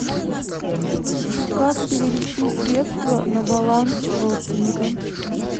как перевести средства на баланс родственника